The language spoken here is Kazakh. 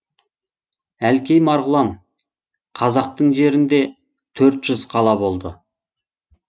әлкей марғұлан қазақтың жерінде төрт жүз қала болды